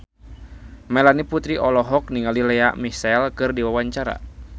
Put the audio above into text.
Melanie Putri olohok ningali Lea Michele keur diwawancara